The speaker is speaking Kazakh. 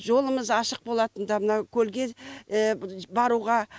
жолымыз ашық болатын да мына көлге баруға